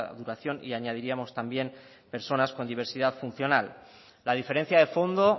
duración y añadiríamos también personas con diversidad funcional la diferencia de fondo